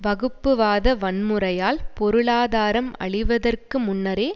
வகுப்புவாத வன்முறையால் பொருளாதாரம் அழிவதற்கு முன்னரே